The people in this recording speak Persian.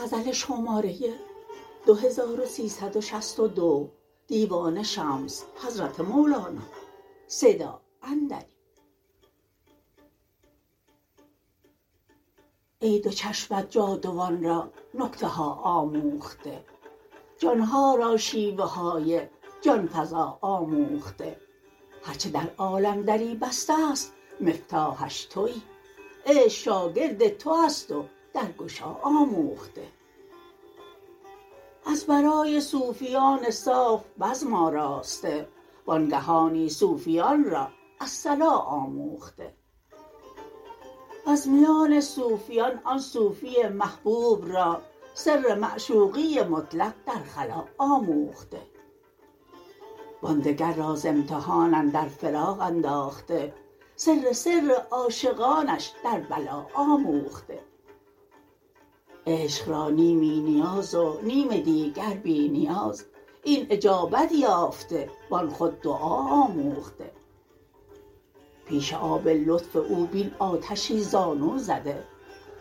ای دو چشمت جاودان را نکته ها آموخته جان ها را شیوه های جان فزا آموخته هر چه در عالم دری بسته ست مفتاحش توی عشق شاگرد تو است و درگشا آموخته از برای صوفیان صاف بزم آراسته وانگهانی صوفیان را الصلا آموخته وز میان صوفیان آن صوفی محبوب را سر معشوقی مطلق در خلاء آموخته و آن دگر را ز امتحان اندر فراق انداخته سر سر عاشقانش در بلا آموخته عشق را نیمی نیاز و نیم دیگر بی نیاز این اجابت یافته و آن خود دعا آموخته پیش آب لطف او بین آتشی زانو زده